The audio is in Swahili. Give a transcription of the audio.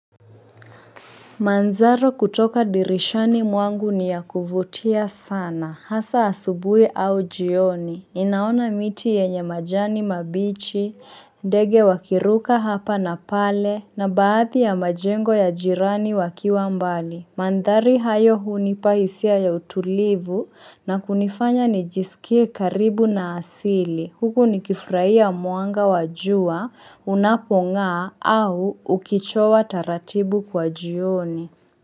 Manzaro kutoka dirishani mwangu ni ya kuvutia sana, hasa asubuhi au jioni, ninaona miti yenye majani mabichi, ndege wakiruka hapa na pale, na baadhi ya majengo ya jirani wakiwa mbali. Mandhari hayo hunipa hisia ya utulivu na kunifanya nijisikie karibu na asili. Huku nikifurahia mwanga wajua unapong'aa au ukichowa taratibu kwa jioni.